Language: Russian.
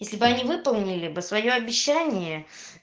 если бы они выполнили бы своё обещание